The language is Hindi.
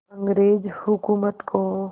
अंग्रेज़ हुकूमत को